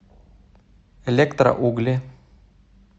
электроугли